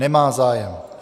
Nemá zájem.